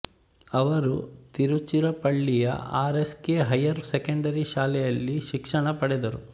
ಅವರು ತಿರುಚಿರಾಪಳ್ಳಿಯ R S K higher secondary ಶಾಲೆಯಲ್ಲಿ ಶಿಕ್ಷಣ ಪಡೆದರು